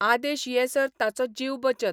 आदेश येसर ताचो जीव बचत.